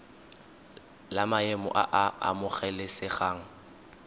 la maemo a a amogelesegang